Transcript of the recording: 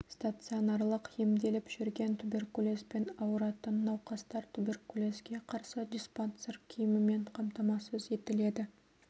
стационарлық емделіп жүрген туберкулезбен ауыратын науқастар туберкулезге қарсы диспансер киімімен қамтамасыз етіледі